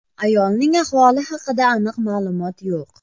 Ayolning ahvoli haqida aniq ma’lumot yo‘q.